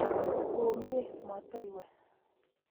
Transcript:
komiee matoiwe''